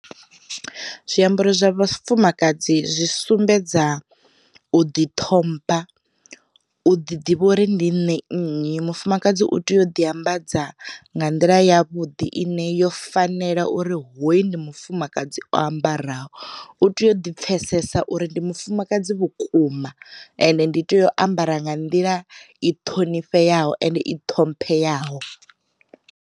Zwiambaro zwa vhafumakadzi zwi sumbedza u ḓi ṱhompha, u ḓi ḓivha uri ndi nṋe nnyi. Mufumakadzi u tea u ḓi ambadza nga nḓila ya vhuḓi ine yo fanela uri hoyu ndi mufumakadzi o ambaraho. U tea u ḓi pfesesa uri ndi mufumakadzi vhukuma ende ndi tea u ambara nga nḓila i ṱhonifheaho ende i ṱhomphe yaho.